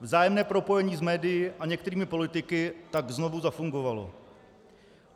Vzájemné propojení s médii a některými politiky tak znovu zafungovalo.